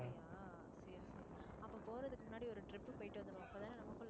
அப்படியா சரி சரி. அப்போ போறதுக்கு முன்னாடி ஒரு trip போயிட்டு வந்துடுவோம் அப்பதானே